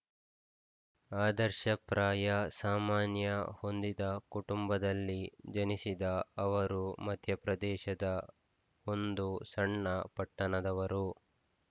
ಆದರ್ಶಪ್ರಾಯ ಸಾಮಾನ್ಯ ಹೊಂದಿದ ಕುಟುಂಬದಲ್ಲಿ ಜನಿಸಿದ ಅವರು ಮಧ್ಯಪ್ರದೇಶದ ಒಂದು ಸಣ್ಣ ಪಟ್ಟಣದವರು